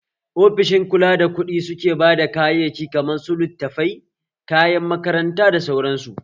Ofishin kula da kuɗu suke bada kayaki kaman su littafai, kayan makaranta da sauran su